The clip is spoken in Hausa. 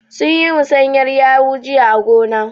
Sun yi musanyar yawu jiya a gona.